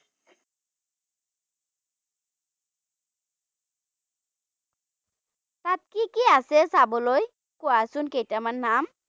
কি আছে চাবলৈ, কোৱাচোন কেইটামান নাম?